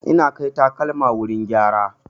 Ina kai takalma wurin gyara.